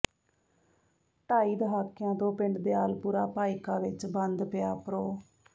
ਢਾਈ ਦਹਾਕਿਆਂ ਤੋਂ ਪਿੰਡ ਦਿਆਲਪੁਰਾ ਭਾਈਕਾ ਵਿੱਚ ਬੰਦ ਪਿਆ ਪ੍ਰੋ